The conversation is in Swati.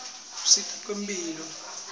usita kwetemphilo